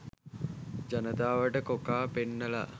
ජනතාවට කොකා පෙන්නලා